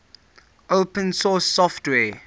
open source software